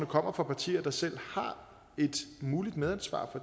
kommer fra partier der selv har et muligt medansvar